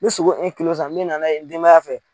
N mɛ sogo san n mɛna n'a ye n denbaya fɛ.